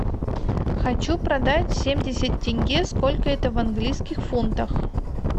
хочу продать семьдесят тенге сколько это в английских фунтах